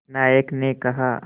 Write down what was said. नायक ने कहा